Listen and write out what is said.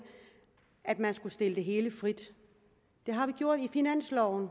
at man skulle stille det hele frit det har vi gjort i finansloven